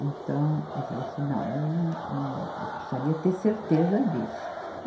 Então, eu falei assim, não, eu não, não, eu precisaria ter certeza disso.